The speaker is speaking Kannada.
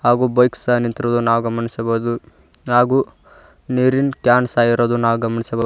ಒಬ್ಬ ಬೈಕ್ ಸಹ ನಿಂತಿರುವುದನ್ನು ನಾವು ಗಮನಿಸಬಹುದು ಹಾಗೂ ನೀರಿನ್ ಕ್ಯಾನ್ ಸಹ ಇರುವುದನ್ನು ನಾವು ಗಮನಿಸಬ--